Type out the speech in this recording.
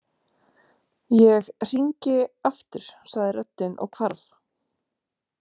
Ég hringi aftur sagði röddin og hvarf.